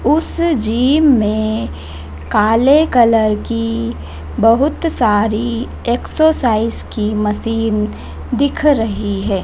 उस जीम में काले कलर की बहुत सारी एक्सरसाइज की मसीन दिख रही है।